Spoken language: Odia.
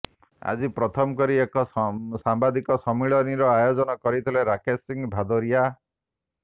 ଆଜି ପ୍ରଥମ କରି ଏକ ସାମ୍ବାଦିକ ସମ୍ମିଳନୀର ଆୟୋଜନ କରିଥିଲେ ରାକେଶ ସିଂହ ଭାଦୋରିଆ